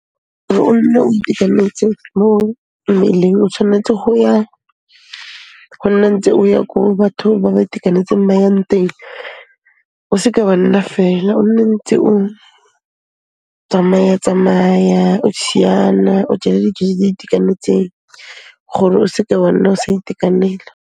O nne o itekanetse mo mmeleng, o tshwanetse go nna ntse o ya ko bathong ba ba itekanetseng ba yang nteng, o seka wa nna feela, o nne ntse o tsamaya-tsamaya, o šiana, o je le dijo tse di itekanetseng gore o seke wa nna o sa itekanela.